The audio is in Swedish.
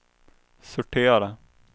sortera